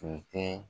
Tun tɛ